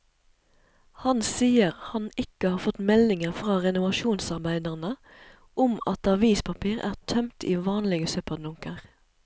Han sier han ikke har fått meldinger fra renovasjonsarbeiderne om at avispapir er tømt i vanlige søppeldunker.